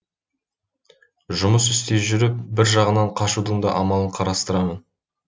жұмыс істей жүріп бір жағынан қашудың да амалын қарастырамын